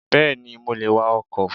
Yes, I can drive a car